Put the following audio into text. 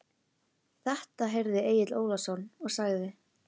Þetta heyrði Egill Ólafsson og sagði